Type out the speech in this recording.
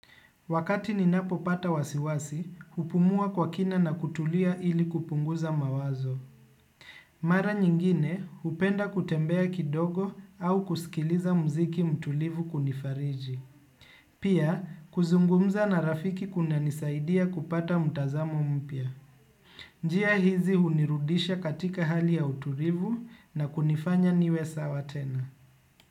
Wakati ninapopata wasi wasi, hupumua kwa kina na kutulia ili kupunguza mawazo. Mara nyingine, upenda kutembea kidogo au kusikiliza mziki mtulivu kunifariji. Pia, kuzungumza na rafiki kunanisaidia kupata mtazamo mpya. Njia hizi hunirudisha katika hali ya utulivu, na kunifanya niwe sawa tena.